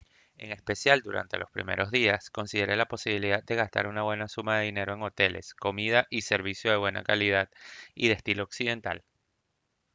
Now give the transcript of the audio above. en especial durante los primeros días considere la posibilidad de gastar una buena suma de dinero en hoteles comida y servicios de buena calidad y de estilo occidental